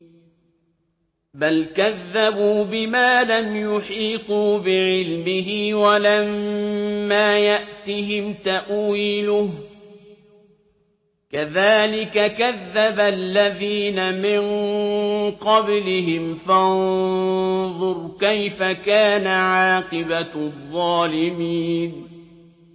بَلْ كَذَّبُوا بِمَا لَمْ يُحِيطُوا بِعِلْمِهِ وَلَمَّا يَأْتِهِمْ تَأْوِيلُهُ ۚ كَذَٰلِكَ كَذَّبَ الَّذِينَ مِن قَبْلِهِمْ ۖ فَانظُرْ كَيْفَ كَانَ عَاقِبَةُ الظَّالِمِينَ